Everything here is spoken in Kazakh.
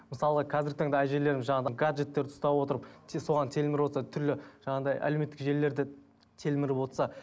мысалға қазіргі таңда әжелереміз жаңағы гаджеттерді ұстап отырып соған телміріп отырса түрлі жаңағындай әлеуметтік желілерде телміріп отырса